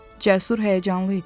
Cəsur həyəcanlı idi.